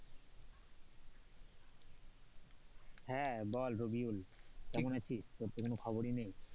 হ্যাঁ বল, রবিউল কেমন আছিস তোর তো কোন খবরই নেই,